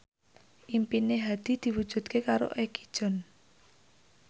impine Hadi diwujudke karo Egi John